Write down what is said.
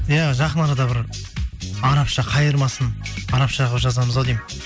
иә жақын арада бір арабша қайырмасын арабша қылып жазамыз ау деймін